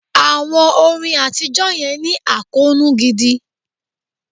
Àwọn orin àtijọ́ yẹn ní àkóónú gidi.